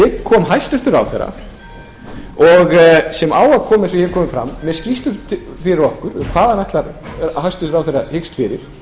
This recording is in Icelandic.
kom hæstvirtur ráðherra sem á að koma eins og hér hefur komið fram með skýrslu fyrir okkur hvað hæstvirtur ráðherra hyggst fyrir